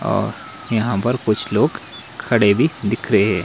और यहां पर कुछ लोग खड़े भी दिख रहे--